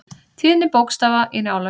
Tíðni bókstafa í Njálu.